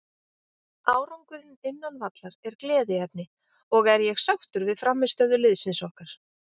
Árangurinn innan vallar er gleðiefni og er ég sáttur við frammistöðu liðsins okkar.